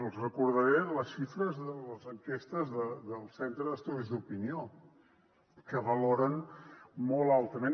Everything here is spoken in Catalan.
els recordaré les xifres de les enquestes del centre d’estudis d’opinió que valoren molt altament